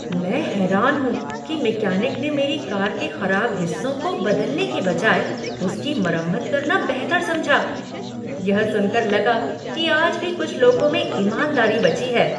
मैं हैरान हूँ कि मैकेनिक ने मेरी कार के खराब हिस्सों को बदलने के बजाय उसकी मरम्मत करना बेहतर समझा। यह सुनकर लगा कि आज भी कुछ लोगों में ईमानदारी बची है।